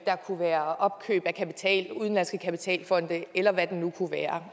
kunne være opkøb af udenlandske kapitalfonde eller hvad det nu kunne være